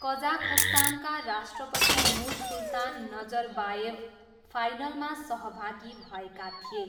कजाखस्तानका राष्ट्रपति Nursultan Nazarbayev फाइनलमा सहभागी भएका थिए।